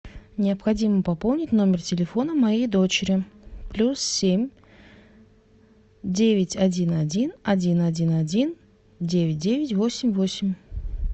необходимо пополнить номер телефона моей дочери плюс семь девять один один один один один девять девять восемь восемь